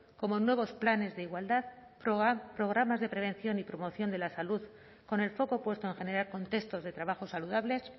como nuevos planes de igualdad programas de prevención y promoción de la salud con el foco puesto en generar contextos de trabajos saludables